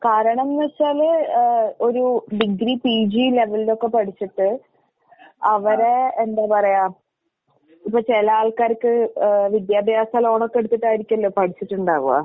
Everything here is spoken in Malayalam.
കാരണംന്ന് വെച്ചാല് ഏഹ് ഒരൂ ഡിഗ്രി പിജി ലെവലിലൊക്കെ പഠിച്ചിട്ട് അവരെ എന്താ പറയാ ഇപ്പ ചെല ആൾക്കാർക്ക് ഏഹ് വിദ്യാഭ്യാസ ലോണൊക്കെ എടുത്തിട്ടായിരിക്കുവല്ലോ പഠിച്ചിട്ട്ണ്ടാവുക.